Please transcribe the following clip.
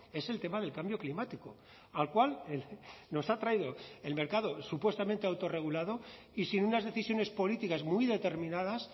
es el tema del cambio climático al cual nos ha traído el mercado supuestamente autorregulado y sin unas decisiones políticas muy determinadas